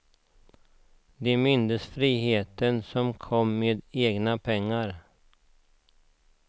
De mindes friheten som kom med egna pengar.